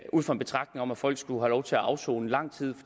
ud fra en betragtning om at folk skulle have lov til at afsone lang tid